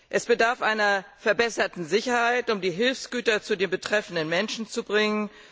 Es bedarf einer verbesserten Sicherheit, um die Hilfsgüter zu den betroffenen Menschen zu bringen.